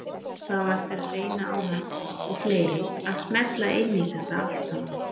Það á eftir að reyna á hann og fleiri að smella inn í þetta saman.